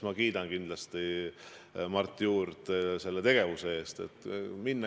Ma kindlasti kiidan Mart Juurt selle tegevuse eest.